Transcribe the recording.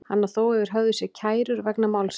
Hann á þó yfir höfði sér kærur vegna málsins.